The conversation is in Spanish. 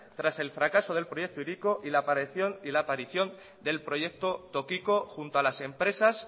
tras el fracaso del proyecto hiriko y la aparición del proyecto tokiko junto a las empresas